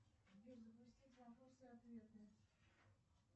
сбер запустить вопросы и ответы